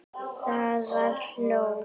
Það var hól.